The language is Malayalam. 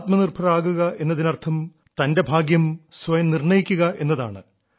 ആത്മനിർഭർ ആകുക എന്നതിനർത്ഥം തന്റെ ഭാഗ്യം സ്വയം നിർണ്ണയിക്കുക എന്നതാണ്